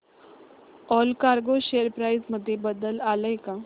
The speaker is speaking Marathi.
ऑलकार्गो शेअर प्राइस मध्ये बदल आलाय का